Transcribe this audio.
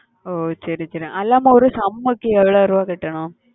ஓஹ் சரி சரி அதில்லாம ஒரு sem க்கு எவ்வளவு ரூபாய் கட்டணும்?